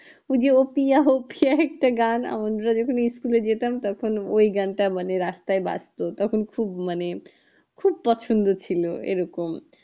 ওই যে ও প্রিয়া ও প্রিয়া একটা গান আমাদের যেকোন school এ যেতাম তখন ওই গানটা রাস্তায় বাজেতো তখন খুব মানে খুব পছন্দ ছিল এইরকম